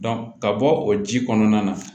ka bɔ o ji kɔnɔna na